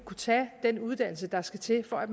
tage den uddannelse der skulle til for at